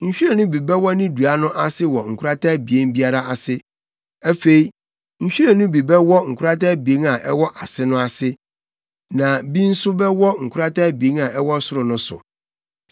Nhwiren no bi bɛwɔ ne dua no ase wɔ nkorata abien biara ase. Afei, nhwiren no bi bɛwɔ nkorata abien a ɛwɔ ase no ase, na bi nso bɛwɔ nkorata abien a ɛwɔ soro no so.